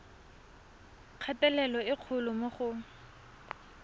kgatelelo e kgolo mo go